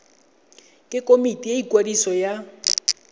ke komiti ya ikwadiso ya